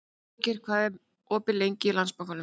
Friðgeir, hvað er opið lengi í Landsbankanum?